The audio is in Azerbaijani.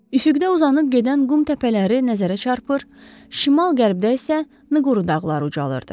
Şərqdə uzanıb gedən qum təpələri nəzərə çarpır, şimal-qərbdə isə Nquru dağları ucalırdı.